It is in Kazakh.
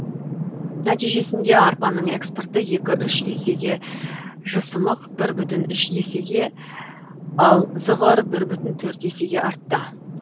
нәтижесінде арпаның экспорты екі үш есеге жысымық бір үш есеге ал зығыр бір бүтін төрт есеге артты